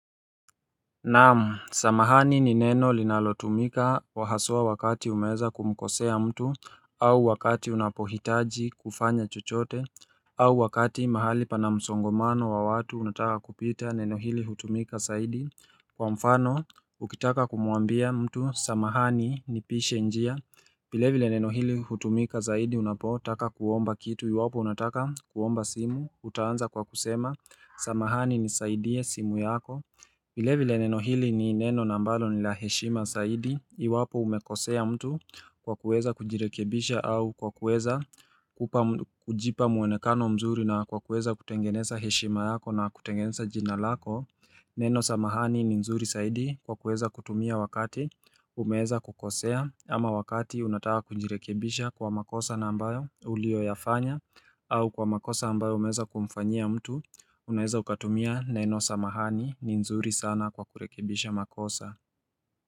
Naam, samahani ni neno linalotumika wahasua wakati umeeza kumkosea mtu au wakati unapohitaji kufanya chuchote au wakati mahali pana msongomano wa watu unataka kupita neno hili hutumika saidi Kwa mfano, ukitaka kumuambia mtu, samahani ni pishe njia vile vile neno hili hutumika zaidi unapotaka kuomba kitu iwapo unataka kuomba simu, utaanza kwa kusema Samahani nisaidie simu yako vile vile neno hili ni neno na ambalo ni la heshima saidi iwapo umekosea mtu kwa kueza kujirekebisha au kwa kuweza kujipa muonekano mzuri na kwa kueza kutengeneza heshima yako na kutengeneza jinalako Neno samahani ni nzuri saidi kwa kueza kutumia wakati umeeza kukosea ama wakati unataka kujirekebisha kwa makosa na ambayo ulio yafanya au kwa makosa ambayo umeeza kumfanyia mtu unaeza ukatumia neno samahani ni nzuri sana kwa kurekebisha makosa.